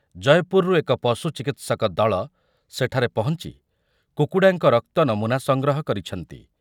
ଜୟପୁରରୁ ଏକ ପଶୁଚିକିତ୍ସକ ଦଳ ସେଠାରେ ପହଞ୍ଚି କୁକୁଡ଼ାଙ୍କ ରକ୍ତ ନମୁନା ସଂଗ୍ରହ କରିଛନ୍ତି ।